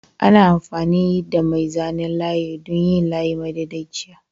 Ana amfani da mai zanen layi don yin layi madaidaiciya.